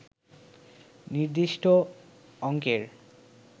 নির্দিষ্ট অঙ্কের